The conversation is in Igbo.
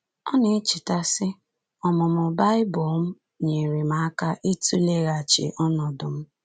Ọ na-echeta, sị: “Ọmụmụ Baịbụl m nyeere m aka ịtụleghachi ọnọdụ m.